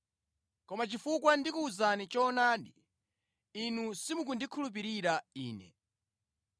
Koma chifukwa ndikuwuzani choonadi, inu simukundikhulupirira Ine!